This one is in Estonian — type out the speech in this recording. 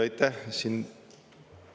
Aitäh!